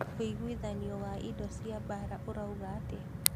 ũigwithanio wa indo cia mbara ũrauga atia?